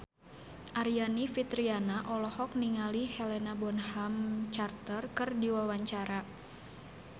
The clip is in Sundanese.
Aryani Fitriana olohok ningali Helena Bonham Carter keur diwawancara